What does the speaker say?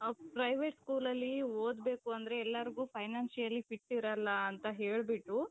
private schoolಅಲ್ಲಿ ಓದಬೇಕು ಅಂದ್ರೆ ಎಲ್ಲಾರಿಗೂ financially fit ಇರಲ್ಲ ಅಂತ ಹೇಳ್ಬಿಟ್ಟು.